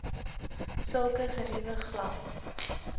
sulke geriewe glad